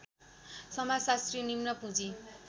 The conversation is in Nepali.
समाजशास्त्री निम्न पुँजी